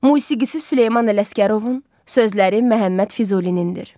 Musiqisi Süleyman Ələsgərovun, sözləri Məhəmməd Füzulinindir.